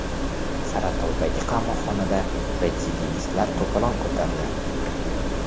Saratovdagi qamoqxonada retsidivistlar to‘polon ko‘tardi.